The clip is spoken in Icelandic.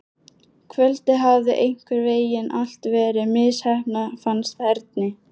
Kvöldið hafði einhvern veginn allt verið misheppnað, fannst Erni.